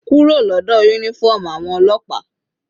Kúrò lọ́dọ̀ uniform àwọn ọlọ́pàá.